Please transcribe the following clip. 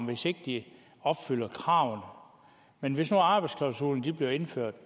hvis ikke de opfylder kravene men hvis nu arbejdsklausulerne blev indført